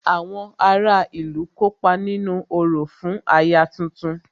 Àwọn ará ìlú kópa nínú orò fún aya tuntun